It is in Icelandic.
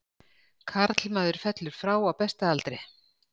Karlmaður fellur frá á besta aldri.